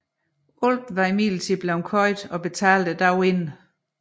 Alt var imidlertid blevet købt og betalt dagen inden